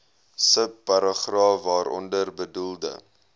subparagraaf waaronder bedoelde